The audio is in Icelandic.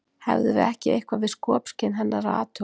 hefðum við ekki eitthvað við skopskyn hennar að athuga